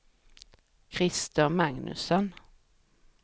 Christer Magnusson